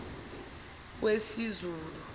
wesizulu